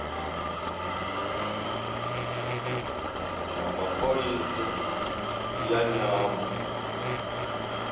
na pholisi ya nyambo